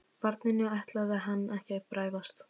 Barninu ætlaði hann ekki að bregðast.